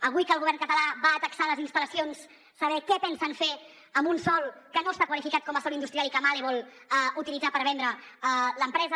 avui que el govern català taxarà les instal·lacions saber què pensen fer amb un sòl que no està qualificat com a sòl industrial i que mahle vol utilitzar per vendre l’empresa